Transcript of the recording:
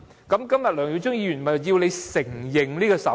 今天梁耀忠議員便是要當局承認手語。